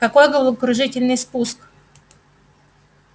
какой головокружительный спуск